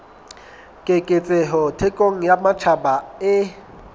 keketseho thekong ya matjhaba e